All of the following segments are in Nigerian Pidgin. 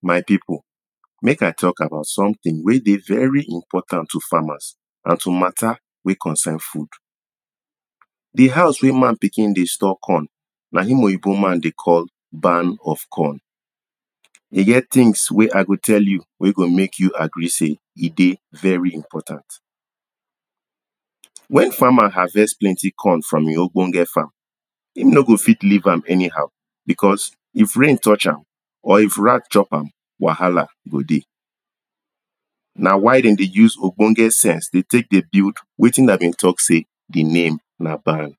My people make I talk about something wen dey very important to famers and to matter wen concern food. di house wen man pikin dey store corn na im oyibo man dey call barn of corn. e get things wey I go tell you wey go make you agree sey e dey very important. Wen farmer harvest plenty corn from im ogbonge farm e no go fit leave am any how because if rain touch am or if rat chop am wahala go dey na why dem dey take ogbonge sense dey build wetin I been talk sey di name na barn.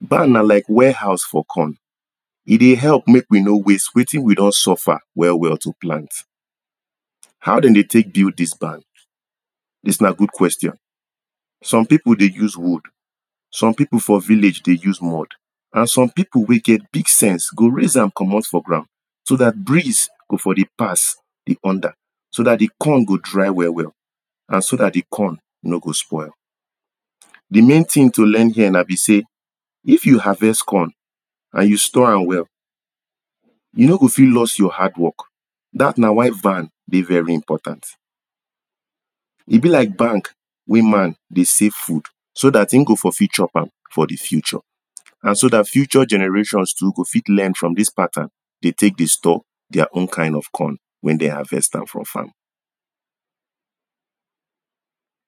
Barn na like ware house for corn e dey help make we no waste wetin we don suffer well well to plant. How dem dey take build dis barn? dis na good question, some people dey use wood some people for village dey use mod and some people wen get big sense go raise am komot for ground so dat breeze go for dey pass di under so dat di corn go dry well well and so dat di corn no go spoil. Di main thing to learn here na be sey if you harvest corn, and you store am well. you no go fit lost your hard work. Dat na why barn dey very important e be like bank wey man dey save food so dat e go for fit chop am for di future and so dat future generations too go fit learn from dis pattern to take dey store their own kind of corn wen dem harvest am for farm.